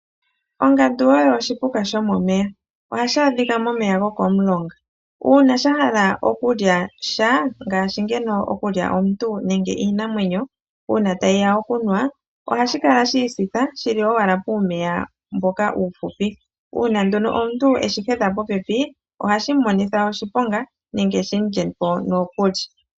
Ongandu oyo oshipuka shomomeya, ohayi adhika momeya gokomulonga. Uuna shahala okulya sha ngaashi ngeno okulya omuntu nenge iinamwenyo uuna tayiya okunwa, ohashi kala shiisitha shili owala puumeya mboka uufupi, uuna nduno omuntu eshi hedha popepi ohashi monitha oshiponga nenge shimulyepo nokuli.